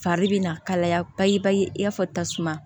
Fari bɛ na kalaya bayi bayi i b'a fɔ tasuma